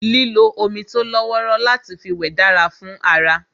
Lílo omi tó lọ́wọ́rọ́ láti fi wẹ̀ dára fún ara